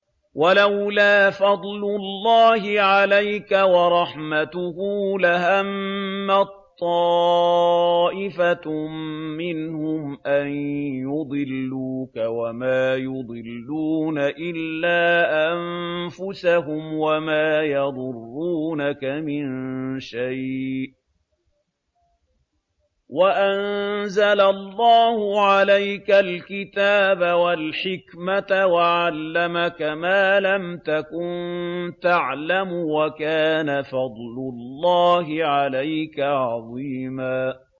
وَلَوْلَا فَضْلُ اللَّهِ عَلَيْكَ وَرَحْمَتُهُ لَهَمَّت طَّائِفَةٌ مِّنْهُمْ أَن يُضِلُّوكَ وَمَا يُضِلُّونَ إِلَّا أَنفُسَهُمْ ۖ وَمَا يَضُرُّونَكَ مِن شَيْءٍ ۚ وَأَنزَلَ اللَّهُ عَلَيْكَ الْكِتَابَ وَالْحِكْمَةَ وَعَلَّمَكَ مَا لَمْ تَكُن تَعْلَمُ ۚ وَكَانَ فَضْلُ اللَّهِ عَلَيْكَ عَظِيمًا